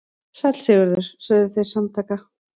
Sæll Sigurður, sögðu þeir samtaka.